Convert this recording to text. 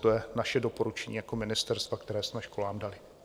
To je naše doporučení jako ministerstva, které jsme školám dali.